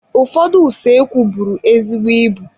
Ụfọdụ usoekwu bụrụ ezigbo ịbụ.